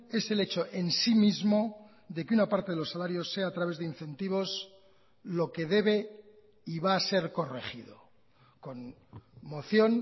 es el hecho en sí mismo de que una parte de los salarios sea a través de incentivos lo que debe y va a ser corregido con moción